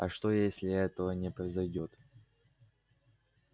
а что если этого не произойдёт